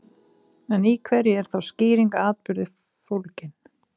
En í hverju er þá skýring á atburði fólgin?